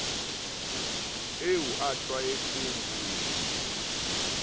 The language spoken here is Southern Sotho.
eo a tlwaetseng ho e